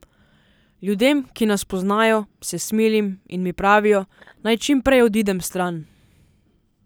Ljudem, ki nas poznajo, se smilim in mi pravijo, naj čim prej odidem stran.